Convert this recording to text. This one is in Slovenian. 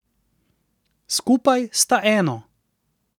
Skupaj sta eno.